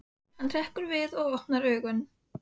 Hann hrekkur við og opnar augun.